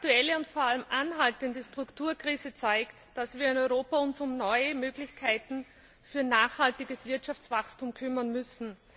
Die aktuelle und vor allem anhaltende Strukturkrise zeigt, dass wir uns in Europa um neue Möglichkeiten für nachhaltiges Wirtschaftswachstum kümmern müssen.